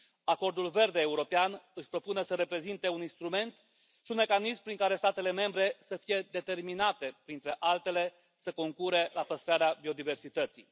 Acordul Verde European își propune să reprezinte un instrument și un mecanism prin care statele membre să fie determinate, printre altele, să concureze la păstrarea biodiversității.